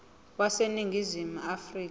wase ningizimu afrika